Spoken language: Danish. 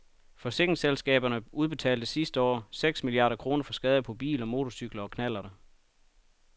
Forsikringsselskaberne udbetalte sidste år seks milliarder kroner for skader på biler, motorcykler og knallerter.